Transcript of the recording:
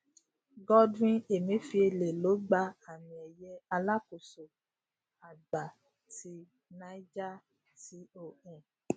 godwin emefiele ló gba àmìeye alákóso àgbà ti niger con